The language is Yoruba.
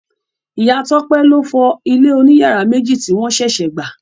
Ìya Tópé loofo ilé oní yàrá méjì tí won sèsè gbà.